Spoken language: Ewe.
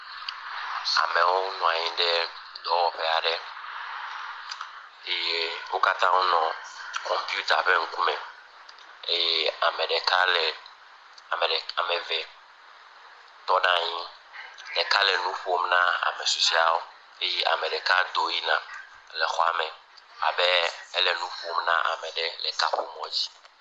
Amewo nɔ anyi ɖe dɔwɔƒe aɖe eye wonɔ kɔmpuita be ŋkume eye ame eve tɔ ɖe anyi ɖeka le nuƒom na ame susueawo eye ame ɖeka do yina le nuƒom na ame aɖe le kaƒomɔ dzi